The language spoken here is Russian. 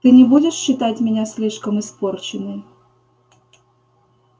ты не будешь считать меня слишком испорченной